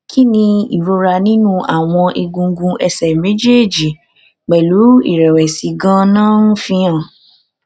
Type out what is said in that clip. kí ni ìrora ninu àwọn egungun ẹsẹ méjèèjì pelu irẹwẹsì ganan ń fi hàn